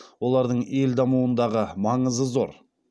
олардың ел дамуындағы маңызы зор